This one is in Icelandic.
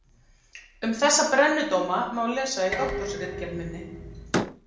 Um þessa brennudóma má lesa í doktorsritgerð minni.